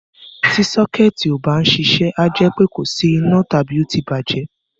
Tí sọ́kẹ́ẹ̀tì ò bá ń ṣiṣẹ́, a jẹ́ pé kò sí iná tàbí ó ti bàjẹ́.